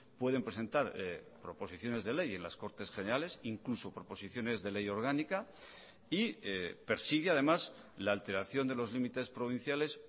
pueden presentar proposiciones de ley en las cortes generales incluso proposiciones de ley orgánica y persigue además la alteración de los límites provinciales